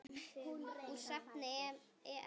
Úr safni EM.